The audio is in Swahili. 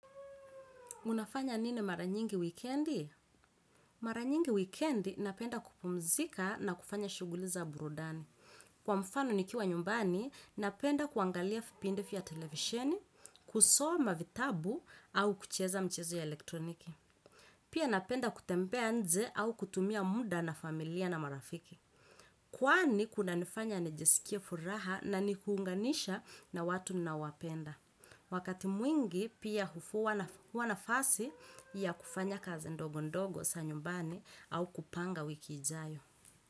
Unafanya nini mara nyingi wikendi? Mara nyingi wikendi napenda kupumzika na kufanya shughuli za burudani. Kwa mfano nikiwa nyumbani, napenda kuangalia vipindi vya televisheni, kusoma vitabu au kucheza mchezo ya elektroniki. Pia napenda kutembea nnje au kutumia muda na familia na marafiki. Kwani kunanifanya nijisikie furaha na ni kuunganisha na watu ninaowapenda. Wakati mwingi pia hufuwa, huwa nafasi ya kufanya kazi ndogo ndogo za nyumbani au kupanga wiki ijayo.